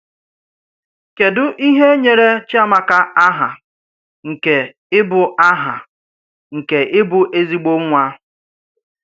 Kédu ìhè nyèrè Chíàmákà àhà nke íbụ́ àhà nke íbụ́ èzígbò nwá